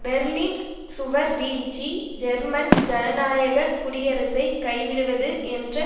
Berlin சுவர் வீழ்ச்சி German ஜனநாயக குடியரசை கைவிடுவது என்ற